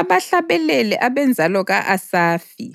Abahlabeleli, abenzalo ka-Asafi,